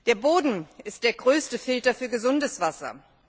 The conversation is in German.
Der Boden ist der größte Filter für gesundes Wasser.